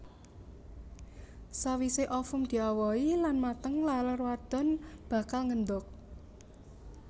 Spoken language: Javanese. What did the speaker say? Sawisé ovum diawohi lan mateng laler wadon bakal ngendhog